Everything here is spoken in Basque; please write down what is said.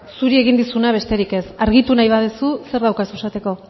zuri egin dizuna besterik ez argitu nahi baduzu zer daukazu esateko